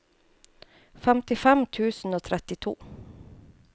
femtifem tusen og trettito